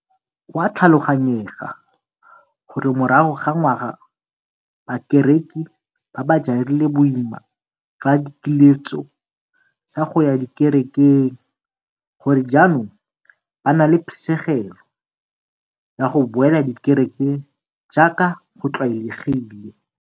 Go a tlhaloganyega gore morago ga ngwaga bakereki ba ba jarile boima jwa dikiletso tsa go ya dikerekeng gore jaanong ba na le phisegelo ya go boela dikerekeng jaaka go tlwaelegile.